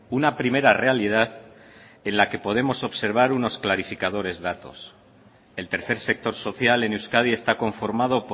una primera realidad en la que podemos observar unos clarificadores datos el tercer sector social en euskadi está conformado